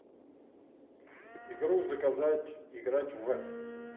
игру заказать играть в